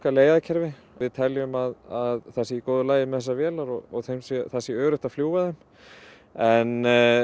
leiðakerfi við teljum að það sé í góðu lagi með þessar vélar og það sé öruggt að fljúga þeim en